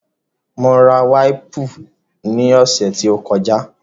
Mo ra wáìpù ní ọ̀sẹ̀ tó kọjá